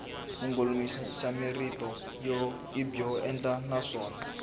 vulongoloxamarito i byo enela naswona